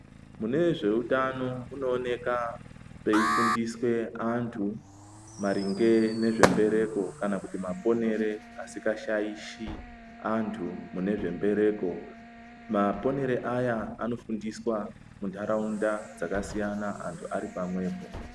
Mune zveutano mwunoonekwa maifundiswa antu maringe nezvembereko kana kuti maponero asikashaishi antu nezve mbereko .Maponero aya anofundiswe mundaraunda dzakasiyana antu ari pamwepo.